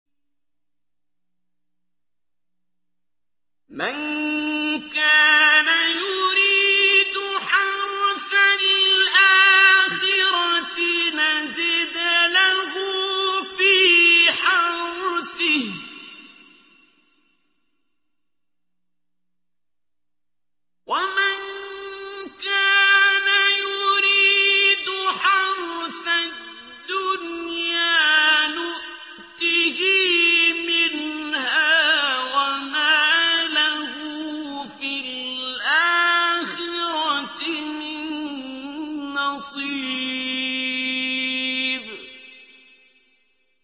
مَن كَانَ يُرِيدُ حَرْثَ الْآخِرَةِ نَزِدْ لَهُ فِي حَرْثِهِ ۖ وَمَن كَانَ يُرِيدُ حَرْثَ الدُّنْيَا نُؤْتِهِ مِنْهَا وَمَا لَهُ فِي الْآخِرَةِ مِن نَّصِيبٍ